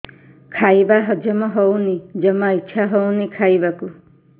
ଖାଇବା ହଜମ ହଉନି ଜମା ଇଛା ହଉନି ଖାଇବାକୁ